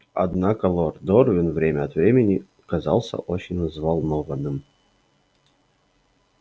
однако лорд дорвин время от времени казался очень взволнованным